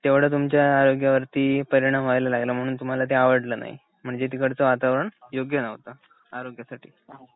तेव्हडा तुमच्या आरोग्यावरती परिणाम व्हायला लागला म्हणून ते तुम्हाला आवडलं नाही म्हणजे तिकडचं वातावरण योग्य नव्हतं आरोग्यासाठी